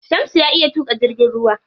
Shamsu ya iya tuƙa jirgin ruwa.